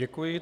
Děkuji.